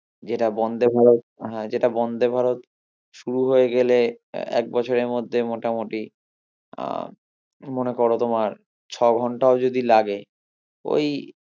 যেটা বন্দে ভারত হ্যাঁ যেটা বন্দে ভারত শুরু হয়ে গেলে এক বছরে মধ্যে মোটামুটি আহ মনে করো তোমার ছ ঘণ্টাও যদি লাগে ওই